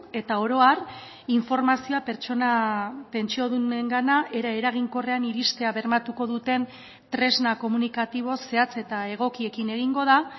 eta oro har informazioa pertsona pentsiodunengana era eraginkorrean iristea bermatuko duten tresna komunikatibo zehatz eta egokiekin egingo da